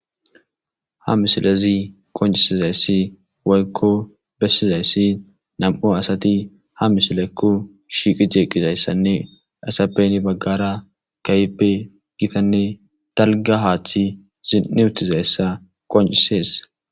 ha misilazi qoncisizayssi woykko bessizayssi nam'u asati ha misilaekko shiiqi jeeqqizayssanne asapeni baggara kayippe gitanne talga haachthi zini utizayssa qoncisees